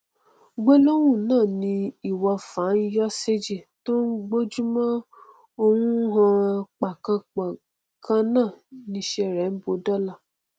gbólóhùn náà ni ìwọfà ń yọ séji tó gbojúmọ ó hàn pákànpọ kan náà niṣẹ rẹ bó dọla